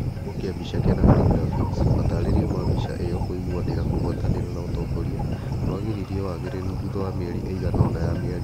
kĩhumo kĩa mbica kenafri graphics, matarĩrio ma mbica iyo kũiguanĩra kũgwatanĩra na ũtongoria nĩ wagiririe wagĩrĩru thutha wa mĩeri ĩigana ona ya mĩario,